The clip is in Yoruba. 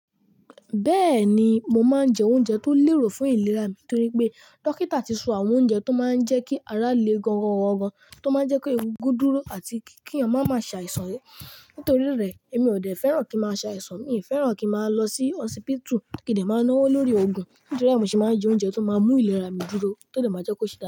Bẹ́ẹ̀ni, mo máa ń jẹ oúnjẹ tó lérò fún ìlera mi torí pé dókítà ti so àwọn oúnjẹ tó máa ń jẹ́ kí ara le gan-an gan-an, tó máa ń jẹ́ kí egungun dúró àti kí eyan mamá ṣàìsàn. Nítorí rẹ̀, èmi ò dẹ́ fẹ́ràn kí màá ṣàìsàn, mi ò fẹ́ràn kí màá lọ sí hosipitu, kí n dè máa náwó lórí òògùn, nítorí ẹ́ mo ṣe máa ń jẹ oúnjẹ tó máa ń mú ìlera mi dúró, tó dè máa jẹ́ kó ṣe daadaa.